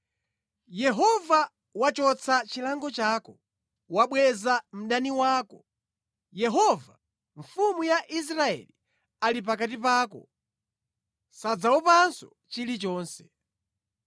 Yehova wachotsa chilango chako, wabweza mdani wako. Yehova, Mfumu ya Israeli, ali pakati pako; sudzaopanso chilichonse.